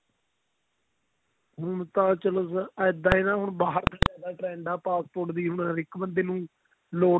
ਹੁਣ ਤਾਂ ਚਲੋ ਇੱਦਾਂ ਹੈ ਨਾ ਹੁਣ ਬਾਹਰ ਜਾਣ ਦਾ trend ਆ passport ਦੀ ਮਤਲਬ ਹਰ ਇੱਕ ਬੰਦੇ ਲੋੜ